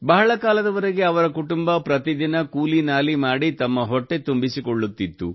ಬಹಳ ಕಾಲದವರೆಗೆ ಅವರ ಕುಟುಂಬ ಪ್ರತಿ ದಿನ ಕೂಲಿ ನಾಲಿ ಮಾಡಿ ತಮ್ಮ ಹೊಟ್ಟೆ ತುಂಬಿಸಿಕೊಳ್ಳುತ್ತಿತ್ತು